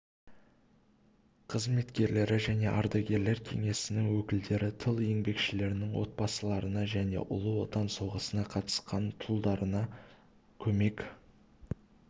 қызметкерлері және ардагерлер кеңесінің өкілдері тыл еңбекшілерінің отбасыларына және ұлы отан соғысына қатысқан тұлдарына көмек